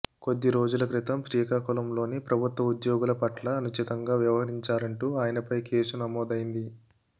కొద్ది రోజుల క్రితం శ్రీకాకుళంలోని ప్రభుత్వ ఉద్యోగుల పట్ల అనుచితంగా వ్యవహరించారంటూ ఆయనపై కేసు నమోదైంది